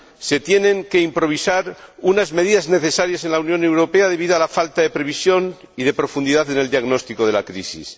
Se tienen que improvisar unas medidas necesarias en la Unión Europea debido a la falta de previsión y de profundidad en el diagnóstico de la crisis.